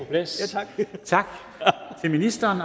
plads tak til ministeren